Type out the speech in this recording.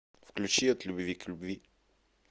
включи от любви к любви